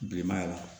Bilenmaya la